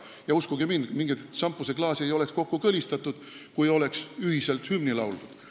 Ja uskuge mind, mingeid šampuseklaase ei oleks kokku kõlistatud, kui oleks ühiselt hümni lauldud.